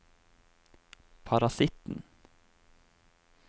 parasitten